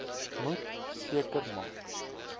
moet seker maak